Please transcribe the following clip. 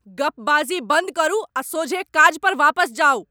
गप्पबाजी बन्द करू आ सोझे काज पर वापस जाउ!